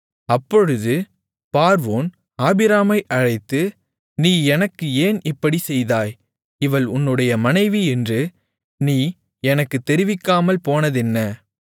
அப்பொழுது பார்வோன் ஆபிராமை அழைத்து நீ எனக்கு ஏன் இப்படிச் செய்தாய் இவள் உன்னுடைய மனைவி என்று நீ எனக்குத் தெரிவிக்காமல் போனதென்ன